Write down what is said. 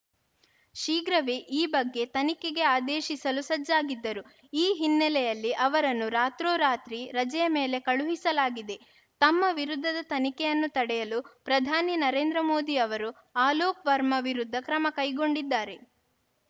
ಶೀಘ್ರವೇ ಈ ಬಗ್ಗೆ ತನಿಖೆಗೆ ಆದೇಶಿಸಲೂ ಸಜ್ಜಾಗಿದ್ದರು ಈ ಹಿನ್ನೆಲೆಯಲ್ಲಿ ಅವರನ್ನು ರಾತ್ರೋರಾತ್ರಿ ರಜೆಯ ಮೇಲೆ ಕಳುಹಿಸಲಾಗಿದೆ ತಮ್ಮ ವಿರುದ್ಧದ ತನಿಖೆಯನ್ನು ತಡೆಯಲು ಪ್ರಧಾನಿ ನರೇಂದ್ರ ಮೋದಿ ಅವರು ಅಲೋಕ್‌ ವರ್ಮಾ ವಿರುದ್ಧ ಕ್ರಮ ಕೈಗೊಂಡಿದ್ದಾರೆ